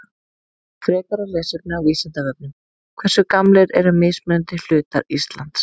Frekara lesefni á Vísindavefnum Hversu gamlir eru mismunandi hlutar Íslands?